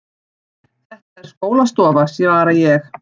Þetta er skólastofa, svara ég.